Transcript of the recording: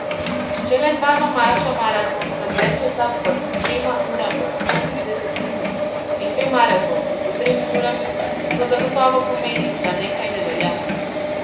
Če le dva domača maratonca tečeta pod dvema urama in štirideset minut in dve maratonki pod tremi urami, to zagotovo pomeni, da nekaj ne velja.